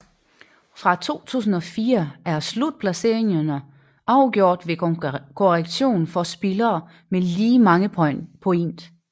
Fra 2004 er slutplaceringerne afgjort ved korrektion for spillere med lige mange point